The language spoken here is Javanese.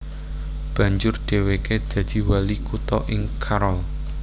Banjur dhèwèké dadi wali kutha ing Carroll